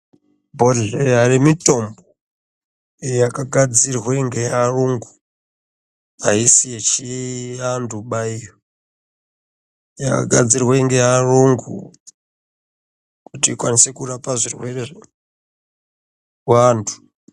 Bhodhleya yemitombo iyo yakagadzirwe ngeyayungu aisi yechiantu ba iyo yakagadzirwe ngeayungu kuti ikwanise kurapa zvirwere zvevantu. .